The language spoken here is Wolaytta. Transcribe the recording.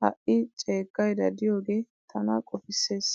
ha"i ceeggaydda diyoogee tana qoppissees.